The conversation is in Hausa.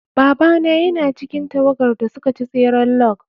Babana yana cikin tawagar da suka ci tseren log.